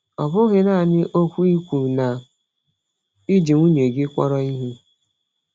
Ọ bụghị naanị okwu ikwu na i ji nwunye gị kpọrọ ihe.